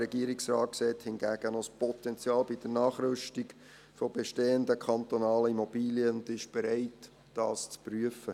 Der Regierungsrat sieht hingegen noch Potenzial bei der Nachrüstung von bestehenden kantonalen Immobilien und ist bereit, dies zu prüfen.